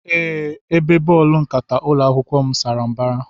Ee, Ebe bọọlụ nkata ụlọ akwụkwọ m sara mbara.